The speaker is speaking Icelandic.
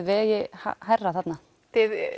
vegi hærra þarna þið